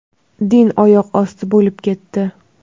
Din oyoq osti bo‘lib ketdi.